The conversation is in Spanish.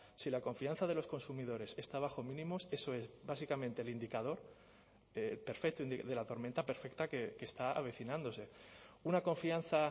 si la confianza de los consumidores está bajo mínimos eso es básicamente el indicador perfecto de la tormenta perfecta que está avecinándose una confianza